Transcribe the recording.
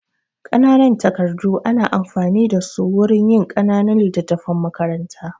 Ƙananan takardu ana amfani da su wurin yin ƙananun littattafan makaranta.